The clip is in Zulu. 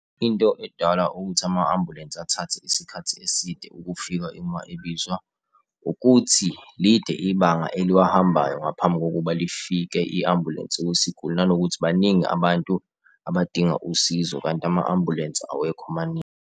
Into edala ukuthi ama-ambulensi athathe isikhathi eside ukufika uma ebizwa, ukuthi lide ibanga eliwahambayo ngaphambi kokuba lifike i-ambulensi kwisiguli nanokuthi baningi abantu abadinga usizo kanti ama-ambulensi awekho maningi.